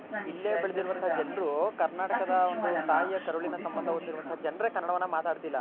ಇಲ್ಲೇ ಬೆಳೆದಿರುವಂತಹ ಜನರು ಕರ್ನಾಟಕದ ಒಂದು ತಾಯಿಯ ಕರುಳಿನ ಸಂಭದ ಹೊಂದಿರುವಂತಹ ಜನ್ರೆ ಕನ್ನಡವನ್ನ ಮಾತಾಡ್ತಿಲ್ಲ.